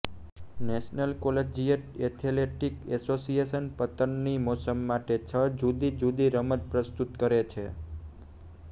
national collegiate athletic association પતનની મોસમ માટે છ જુદી જુદી રમત પ્રસ્તુત કરે છે